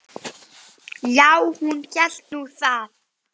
Já, hún hélt nú það.